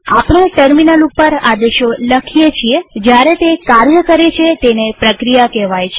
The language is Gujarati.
આપણે ટર્મિનલ ઉપર આદેશો લખીએ છીએ જયારે તે કાર્ય કરે છે તેને પ્રક્રિયા કહેવાય છે